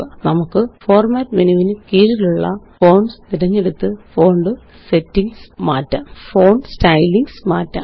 നമുക്ക്Format menu വിന് കീഴിലുള്ള fonts തിരഞ്ഞെടുത്ത് ഫോണ്ട് സ്റ്റൈലിംഗ് മാറ്റാം